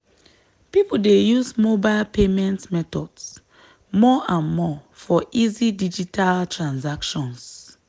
people dey use mobile payment methods more and more for easy digital transactions.